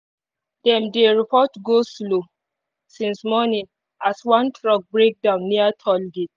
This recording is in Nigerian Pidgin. dem dey report go-slow since morning as one truck break down near toll gate